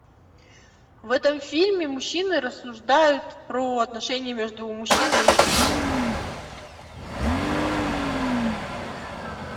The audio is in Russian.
в этом фильме мужчины рассуждают про отношения между мужчиной и женщиной